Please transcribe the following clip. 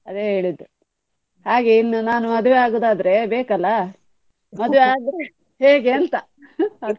ಅದೇ ಹೇಳಿದ್ದು ಹಾಗೆ ಇನ್ನು ನಾನು ಮದುವೆ ಆಗುದಾದ್ರೆ ಬೇಕಲ್ಲ ಮದುವೆ ಆದ್ರೆ ಹೇಗೆ ಅಂತ.